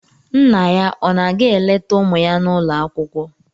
Nna ya ọ na-aga eleta ụmụ ya n'ụlọ akwụkwọ?